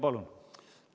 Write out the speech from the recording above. Palun!